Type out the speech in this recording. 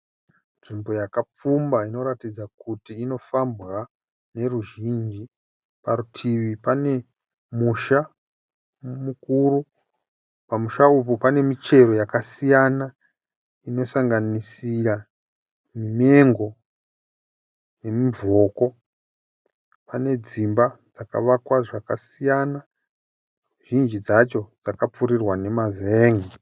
Nzvimbo yakapfumba inoratidza kuti inofambwa neruzhinji. Parutivi pane musha mukuru. Pamusha apa pane michero yakasiyana, inosanganisira mengo nemuvhoko. Pane dzimba dzakavakwa zvakasiyana. Zhinji dzacho dzakapfuurirwa nemazenge.